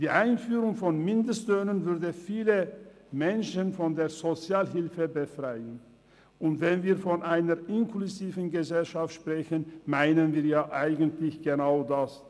Die Einführung von Mindestlöhnen würde viele Menschen von der Sozialhilfe befreien, und wenn wir von einer inklusiven Gesellschaft sprechen, meinen wir ja eigentlich genau das: